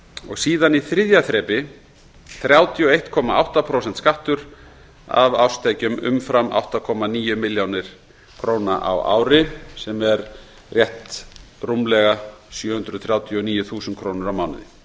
og síðan í þriðja þrepi þrjátíu og einn komma átta prósent skattur af árstekjum umfram átta komma níu milljónir króna á ári sem er rétt rúmlega sjö hundruð þrjátíu og níu þúsund krónur á mánuði